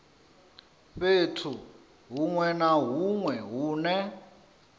fhethu hunwe na hunwe hune